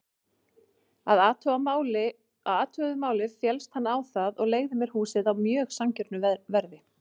Að athuguðu máli féllst hann á það og leigði mér húsið á mjög sanngjörnu verði.